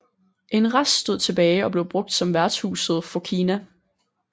En rest stod tilbage og blev brugt som værtshuset Fokina